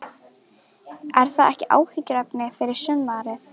Er það ekki áhyggjuefni fyrir sumarið?